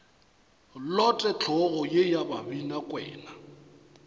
lote hlogo ye ya babinakwena